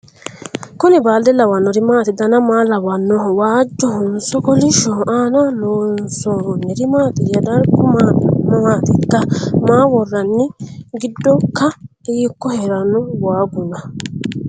Kuni balde lawannori maati dana maa lawannoho? waajjohonso kolishshoho aanaho loonsoniri maatiyya dargu mamaatikka maa worroonni giddoikka hiikko heeranno waaguna